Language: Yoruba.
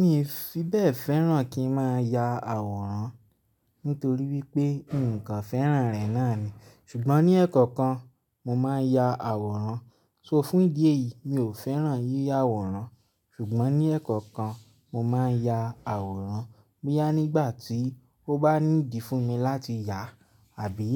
Mi ò fi bẹ́ẹ̀ fẹ́ràn kí má ya àwòrán nítorí wípé nǹkan fẹ́ràn rẹ̀ náà ni. Ṣùgbọ́n ní ẹ́ẹ̀kọ̀kan mo máa ń ya àwòrán. Nitori naa, fún ìdí èyí mi ò fẹ́ràn yíyà àwòrán. Ṣùgbọ́n ní ẹ̀ẹ̀kọ̀kan mo máa ń ya àwòrán. Boyá nígbà tí ó bá nídi fún mi láti yà àbí